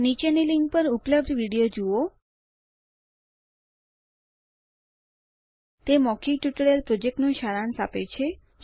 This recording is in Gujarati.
નીચેની લીંક પર ઉપલબ્ધ વિડીયો જુઓ httpspoken tutorialorgWhat is a Spoken Tutorial તે મૌખિક ટ્યુટોરીયલ પ્રોજેક્ટ માટે સારાંશ આપે છે